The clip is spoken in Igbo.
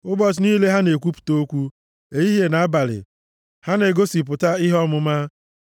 Ụbọchị niile, ha na-ekwupụta okwu, ehihie na abalị, ha na-egosipụta ihe ọmụma.